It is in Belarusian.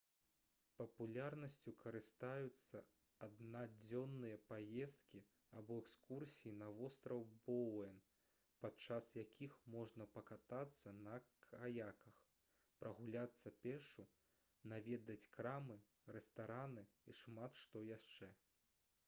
папулярнасцю карыстаюцца аднадзённыя паездкі або экскурсіі на востраў боуэн падчас якіх можна пакатацца на каяках прагуляцца пешшу наведаць крамы рэстараны і шмат што яшчэ